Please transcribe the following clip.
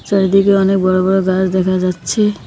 চারিদিকে অনেক বড় বড় গাছ দেখা যাচ্ছে।